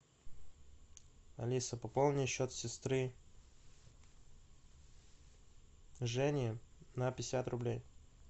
алиса пополни счет сестры жени на пятьдесят рублей